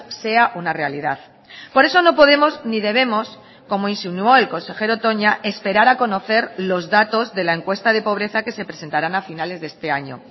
sea una realidad por eso no podemos ni debemos como insinuó el consejero toña esperar a conocer los datos de la encuesta de pobreza que se presentaran a finales de este año